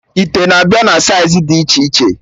Ite na-abịa na saịz dị iche iche